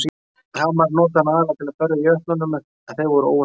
Hamarinn notaði hann aðallega til að berja á jötnum en þeir voru óvinir ásanna.